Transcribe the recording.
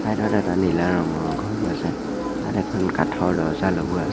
ইয়াত এটা নীলা ৰঙৰ ঘৰো আছে তাত এখন কাঠৰ দৰ্জা লগোৱা আছে।